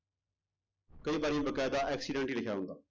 ਕਈ ਵਾਰੀ ਵਕੈਦਾ accident ਹੀ ਲਿਖਿਆ ਹੁੰਦਾ।